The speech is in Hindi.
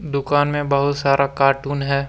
दुकान में बहुत सारा कार्टून है।